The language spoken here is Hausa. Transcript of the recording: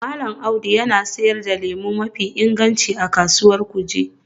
Mallam Audu yana sayar da lemu mafi inganci a Kasuwar Kuje